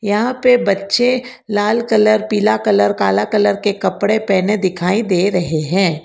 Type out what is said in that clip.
यहां पे बच्चे लाल कलर पीला कलर काला कलर के कपड़े पहने दिखाई दे रहे हैं।